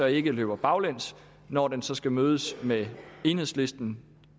ikke løber baglæns når den så skal mødes med enhedslisten